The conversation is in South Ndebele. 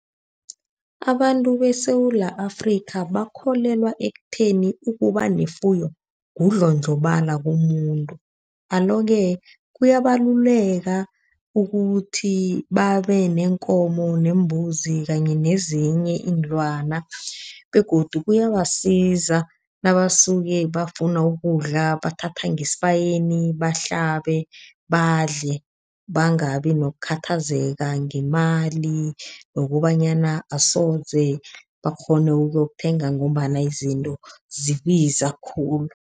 Abantu beSewula Afrika bakholelwa ekutheni ukuba nefuyo kundlhondlhobala komuntu. Alo-ke kuyabaluleka ukuthi babe neenkomo, neembuzi kanye nezinye iinlwana begodu kuyabasiza nabasuke bafuna ukudla bathatha ngesibayeni bahlabe badle, bangabi nokukhathazeka ngemali nokobanyana asoje bakghone ukuyokuthenga ngombana izinto zibiza khulu.